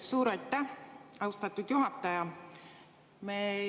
Suur aitäh, austatud juhataja!